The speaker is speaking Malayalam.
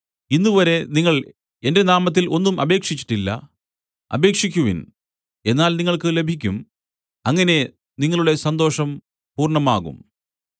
ഇന്നുവരെ നിങ്ങൾ എന്റെ നാമത്തിൽ ഒന്നും അപേക്ഷിച്ചിട്ടില്ല അപേക്ഷിക്കുവിൻ എന്നാൽ നിങ്ങൾക്ക് ലഭിക്കും അങ്ങനെ നിങ്ങളുടെ സന്തോഷം പൂർണ്ണമാകും